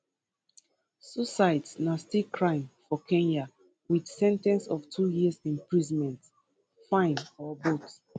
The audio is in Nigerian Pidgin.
suicides na still crime for kenya wit sen ten ce of two years imprisonment fine or both